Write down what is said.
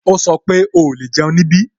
Ó sọ pé "o lè jẹun ní ibí"